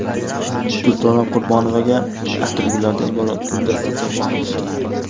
Durdona Qurbonovaga atirgullardan iborat guldasta sovg‘a qilishdi.